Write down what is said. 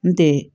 N tɛ